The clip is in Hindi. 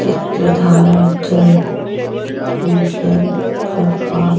चित्रधारा जल जल प्रपात--